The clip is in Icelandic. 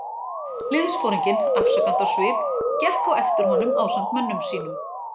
Liðsforinginn, afsakandi á svip, gekk á eftir honum ásamt mönnum sínum.